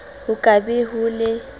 ho ka be ho le